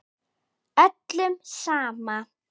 Öllum sama.